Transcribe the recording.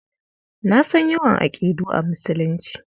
Na san yawan aƙidu a Musulunci.